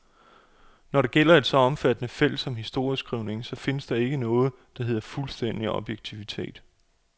Når det gælder et så omfattende felt som historieskrivningen, så findes der ikke noget, der hedder fuldstændig objektivitet.